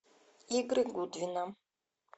игры гудвина